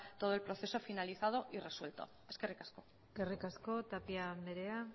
todo el proceso finalizado y resuelto eskerrik asko eskerrik asko tapia andrea